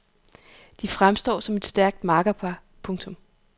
De fremstår som et stærkt makkerpar. punktum